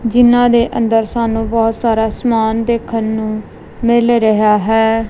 ਜਿਨਾਂ ਦੇ ਅੰਦਰ ਸਾਨੂੰ ਬਹੁਤ ਸਾਰਾ ਸਮਾਨ ਦੇਖਣ ਨੂੰ ਮਿਲ ਰਿਹਾ ਹੈ।